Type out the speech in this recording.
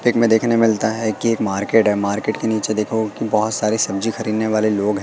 Take में देखनों को मिलता है कि एक मार्केट है मार्केट के नीचे देखो की बहोत सारे सब्जी खरीदने वाले लोग हैं।